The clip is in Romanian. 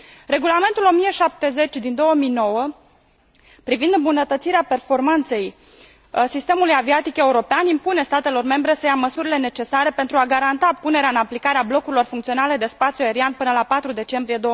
Regulamentul 1070 din 2009 privind îmbunătățirea performanței sistemului aviatic european impune statelor membre să ia măsurile necesare pentru a garanta punerea în aplicare a blocurilor funcționale de spațiu aerian până la 4 decembrie